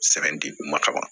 Sɛbɛn di u ma kaban